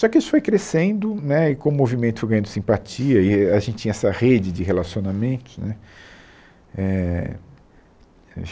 Só que isso foi crescendo né, e como o movimento foi ganhando simpatia, e a gente tinha essa rede de relacionamentos né eh